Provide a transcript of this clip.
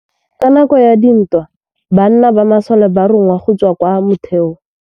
Ka nakô ya dintwa banna ba masole ba rongwa go tswa kwa mothêô.